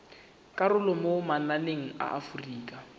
karolo mo mananeng a aforika